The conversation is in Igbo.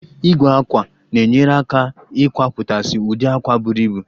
Igwe àkwá na-enyere aka eii kwapụtasị ụdị àkwá buru ibu